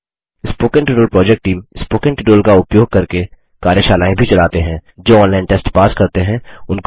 spoken tutorial project team spoken tutorial का उपयोग करके कार्यशालाएँ भी चलाते हैं